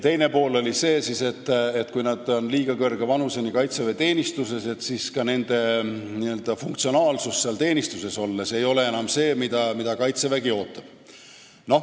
Teine argument oli see, et kui nad on liiga kõrge vanuseni kaitseväeteenistuses, siis ka nende n-ö funktsionaalsus teenistuses olles ei ole enam see, mida Kaitsevägi ootab.